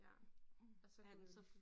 Ja og så gået